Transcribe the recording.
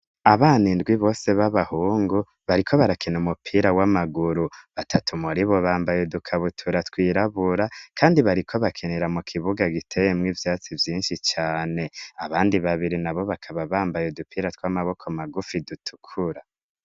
abana indwi bose b'abahungu bariko barakina umupira w'amaguru batatu muribo bambaye udukabutura twirabura kandi bariko bakinira mu kibuga giteye mu ibyatsi byinshi cyane abandi babiri nabo bakaba bambaye udupira tw'amaboko magufi dutukura